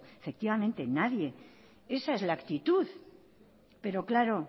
efectivamente nadie esa es la actitud pero claro